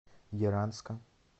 яранска